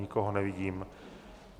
Nikoho nevidím.